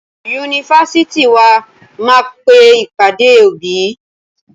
Yunifásitì wa máa pe ìpàdé òbí.